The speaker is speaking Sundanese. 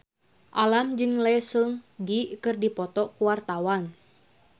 Alam jeung Lee Seung Gi keur dipoto ku wartawan